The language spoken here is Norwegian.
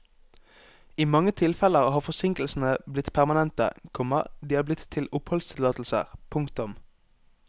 I mange tilfeller har forsinkelsene blitt permanente, komma de er blitt til oppholdstillatelser. punktum